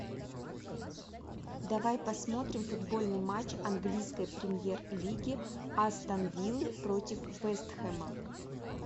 давай посмотрим футбольный матч английской премьер лиги астон виллы против вест хэма